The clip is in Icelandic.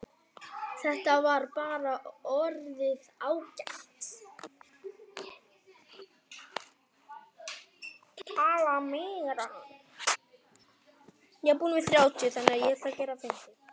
Hún mælti